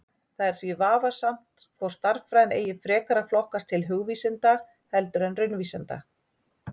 Það er því vafasamt hvort stærðfræðin eigi frekar að flokkast til hugvísinda heldur en raunvísinda.